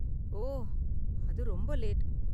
ஓ அது ரொம்ப லேட்.